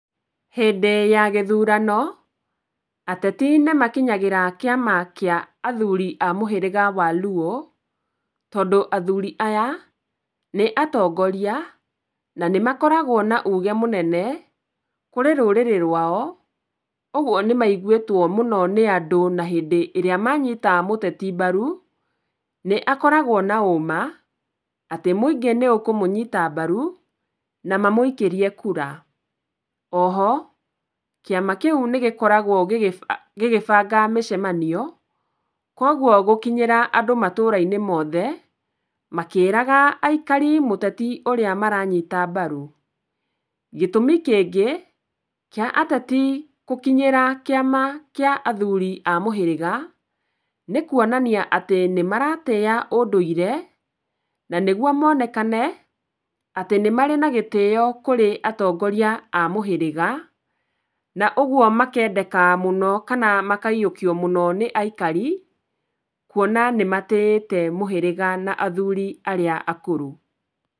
Hĩndĩ ya gĩthurano, ateti nĩmakinyagĩra kĩama kĩa athuri a mũhĩrĩga wa Luo, tondũ athuri aya nĩ atongoria na nĩ makoragwo na uge mũnene kũrĩ rũrĩrĩ rwao, ũgwo nĩmaiguĩtwo mũno nĩ andũ na hĩndĩ ĩrĩa manyita mũteti mbaru, nĩakoragwo na ũũma atĩ mũingĩ nĩ ũkũmũnyita mbaru, na mamũikĩrie kura. Oho kĩama kĩu nĩgĩkoragwo gĩgĩba, gĩgĩbanga mĩcemanio, kwogwo gũkinyĩra andũ matũũra-inĩ mothe makĩĩraga aikari mũteti ũrĩa maranyita mbaru. Gĩtũmi kĩngĩ kĩa ateti gũkinyĩra kĩama kĩa athuri a mũhĩrĩga, nĩ kuonania atĩ nĩmaratĩĩa ũndũire na nĩgwo monekane atĩ nĩmarĩ na gĩtiyo kũrĩ atongoria a mũhĩrĩga, na ũgwo makendeka mũno, kana makayiũkio mũno nĩ aikari kwona nĩmatĩĩte mũhĩrĩga na athuri arĩa akũrũ.